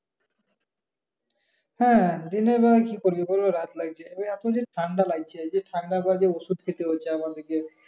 হ্যাঁ দিনের বেলায় কি করবি রাত লাগছে এত যে ঠান্ডা লাগছে এইযে ঠান্ডার কারণে ওষুধ খেতে হচ্ছে।